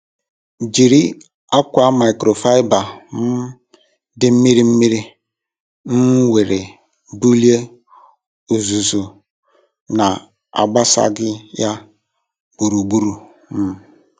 Jiri akwa microfiber um dị mmiri mmiri um were bulie uzuzu na-agbasaghị ya gburugburu. um